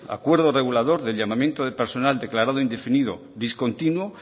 acuerdo regulador de llamamiento de personal declarado indefinido discontinuo